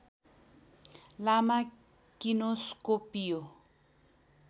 लामा किनोस्कोपिओ